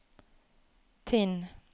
Tinn